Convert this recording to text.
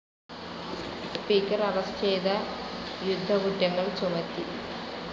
Speaker arrest ചെയ്ത് യുദ്ധക്കുറ്റങ്ങൾ ചുമത്തി.